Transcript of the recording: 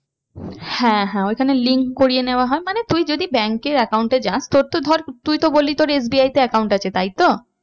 হ্যাঁ হ্যাঁ ওইখানে link করিয়ে নেওয়া হয়। মানে তুই যদি bank এর account এ যাস তোর তো ধর তুই তো বলি তোর SBI তে account আছে তাই তো?